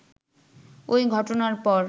ওই ঘটনার পর